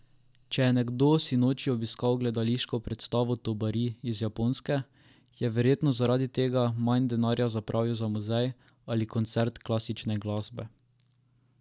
Če je nekdo sinoči obiskal gledališko predstavo Tobari iz Japonske, je verjetno zaradi tega manj denarja zapravil za muzej ali koncert klasične glasbe.